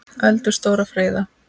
Öldur stórar freyða.